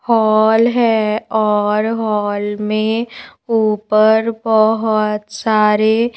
hall है और hall में ऊपर बहुत सारे--